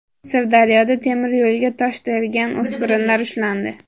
Sirdaryoda temiryo‘lga tosh tergan o‘spirinlar ushlandi.